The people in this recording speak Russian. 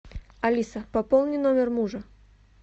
алиса пополни номер мужа